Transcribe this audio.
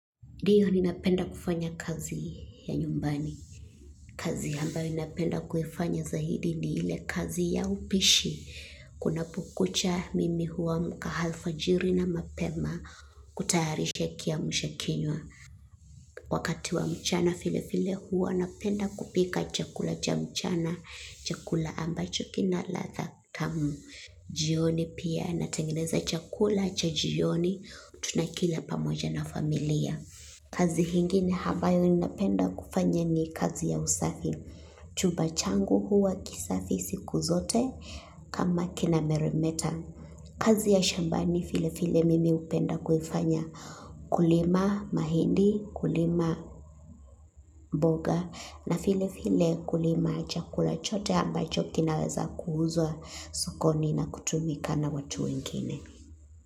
Ndiyo ninapenda kufanya kazi ya nyumbani. Kazi ambayo napenda kuifanya zaidi ni ile kazi ya upishi. Kunapokucha, mimi huamka halfajiri na mapema kutayarisha kiamsha kinywa. Wakati wa mchanavile vile hua napenda kupika chakula cha mchana, chakula ambacho kina ladha tamu. Jioni pia natangeneza chakula cha jioni tunakila pamoja na familia. Kazi ingine abayo ninapenda kufanya ni kazi ya usafi. Chumba changu huwa kisafi siku zote kama kinameremeta. Kazi ya shambani vile vile mimi hupenda kufanya. Kulima mahindi, kulima mboga, na vile vile kulima chakula chote ambacho kinaweza kuuzwa sokoni na kutumika na watu wengine.